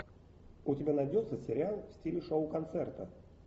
у тебя найдется сериал в стиле шоу концерта